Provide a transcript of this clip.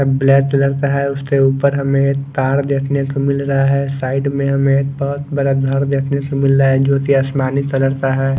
Black colour का है उसके ऊपर हमें तार देखने को मिल रहा है साइड में हमें एक बहुत बड़ा घर देखने को मिल रहा है जो कि आसमानी कलर का है।